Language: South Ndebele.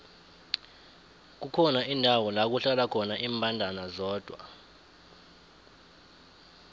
kukhona indawo lakuhlala khona imbandana zodwa